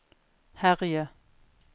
herje